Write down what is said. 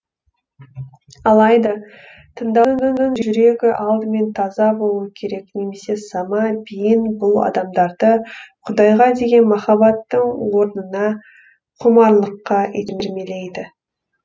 алайда тыңдаушының жүрегі алдымен таза болуы керек немесе сама биін бұл адамдарды құдайға деген махаббаттың орнына құмарлыққа итермелейді